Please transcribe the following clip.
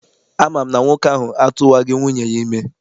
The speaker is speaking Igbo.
Ama m na nwoke ahụ atụwaghị nwunye ya ime.